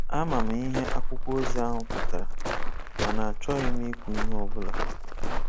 Ama m ihe akwụkwọ ozi ahụ pụtara, mana achọghị m ikwu ihe ọbụla.